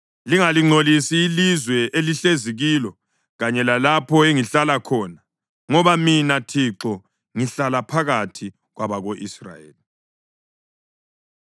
Lingalingcolisi ilizwe elihlezi kilo kanye lalapho engihlala khona, ngoba Mina, Thixo, ngihlala phakathi kwabako-Israyeli.’ ”